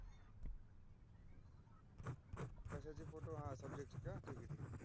कशाची photo हा subject ची का हा ठीक आहे ठीकआहे.